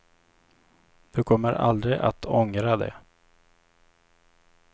Du kommer aldrig att ångra det.